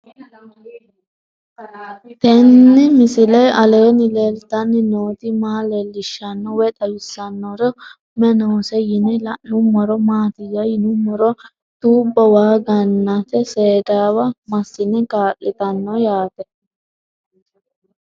Tenni misile aleenni leelittanni nootti maa leelishshanno woy xawisannori may noosse yinne la'neemmori maattiya yinummoro tuubbo waa ga'natte seedawa masinne kaa'littanno yaatte